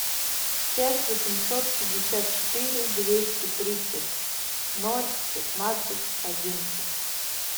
пять восемьсот пятьдесят четыре двести тридцать ноль пятнадцать одиннадцать